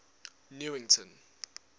newington